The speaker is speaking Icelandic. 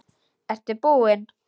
Ertu búinn?